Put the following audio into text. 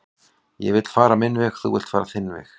ég vill fara minn veg þú villt fara þinn veg